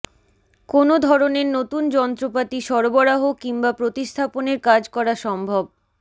কোনো ধরনের নতুন যন্ত্রপাতি সরবরাহ কিংবা প্রতিস্থাপনের কাজ করা সম্ভব